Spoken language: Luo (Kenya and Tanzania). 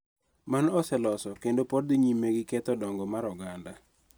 Mano oseloso kendo pod dhi nyime gi ketho dongo mar oganda.